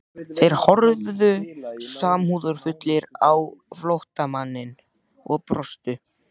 Þeir horfðu samúðarfullir á flóttamanninn og brostu.